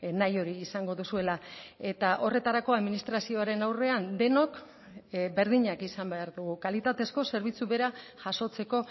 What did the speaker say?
nahi hori izango duzuela eta horretarako administrazioaren aurrean denok berdinak izan behar dugu kalitatezko zerbitzu bera jasotzeko